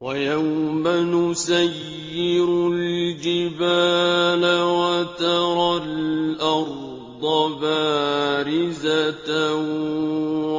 وَيَوْمَ نُسَيِّرُ الْجِبَالَ وَتَرَى الْأَرْضَ بَارِزَةً